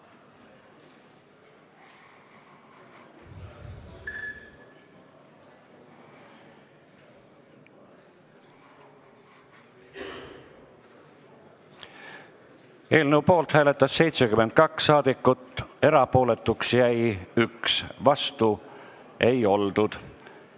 Hääletustulemused Eelnõu poolt hääletas 72 saadikut, erapooletuks jäi 1, vastu ei oldud.